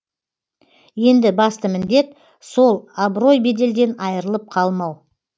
енді басты міндет сол абырой беделден айырылып қалмау